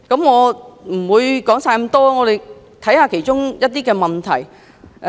我不會全部引述，只集中看其中一些問題。